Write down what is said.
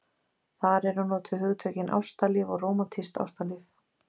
þar eru notuð hugtökin ástalíf og rómantískt ástalíf